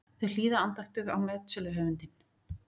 Þau hlýða andaktug á metsöluhöfundinn.